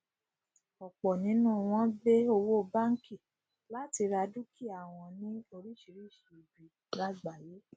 ọpọ nínú wọn gbé owó bánkì láti ra dúkìá wọn ní orísirísi ibi lágbàyé